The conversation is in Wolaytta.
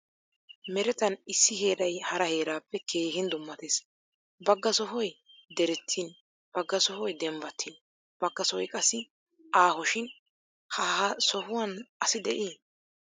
Meretan issi heeray hara heerappe keehin dummattees. Bagga sohoy deretin bagga sohoy dembbattin bagga sohoy qassi aaho shin ha ha sohuwan asi de'i?